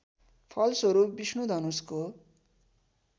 फलस्वरूप विष्णु धनुषको